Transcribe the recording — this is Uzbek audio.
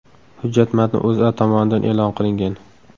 Hujjat matni O‘zA tomonidan e’lon qilingan .